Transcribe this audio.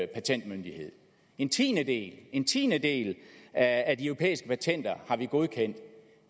patentmyndighed en tiendedel en tiendedel af de europæiske patenter har vi godkendt